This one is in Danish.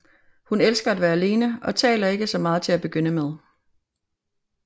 Hun elsker at være alene og taler ikke så meget til at begynde med